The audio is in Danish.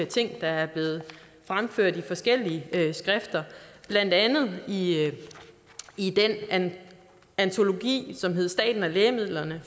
ting der er blevet fremført i forskellige skrifter blandt andet i den antologi som hedder staten og lægemidlerne